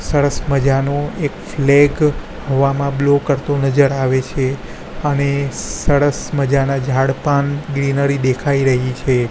સરસ મજાનુ એક ફ્લેગ હવામાં બ્લો કરતુ નજર આવે છે અને સરસ મજાના ઝાડ પણ ગ્રીનરી દેખાય રહી છે.